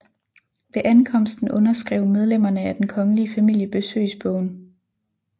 Ved ankomsten underskrev medlemmerne af den kongelige familie besøgsbogen